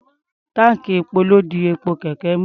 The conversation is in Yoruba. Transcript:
Táǹkì epo ló di epo kẹ̀kẹ́ mú.